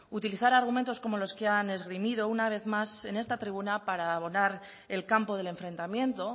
utilizar argumentos como los que han esgrimido una vez más en esta tribuna para abonar el campo del enfrentamiento